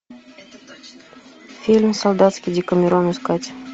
фильм солдатский декамерон искать